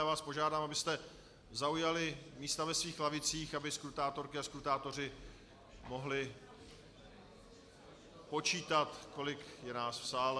Já vás požádám, abyste zaujali místa ve svých lavicích, aby skrutátorky a skrutátoři mohli počítat, kolik je nás v sále.